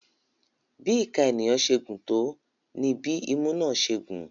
Bí ìka ènìyàn ṣe gùn tó ní bí imú náà ṣe gùn.